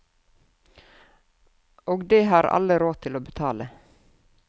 Og det har alle råd til å betale.